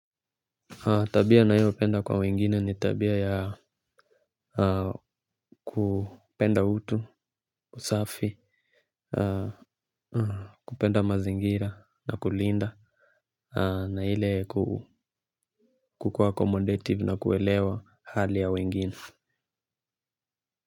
Tabia ninayoipenda kwa wengine ni tabia ya kupenda utu, usafi, kupenda mazingira na kulinda na ile kukuwa accomodative na kuelewa hali ya wengine.